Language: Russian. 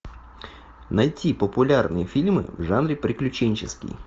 найти популярные фильмы в жанре приключенческий